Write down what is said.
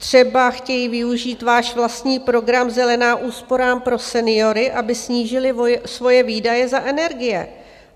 Třeba chtějí využít váš vlastní program Zelená úsporám pro seniory, aby snížili svoje výdaje za energie.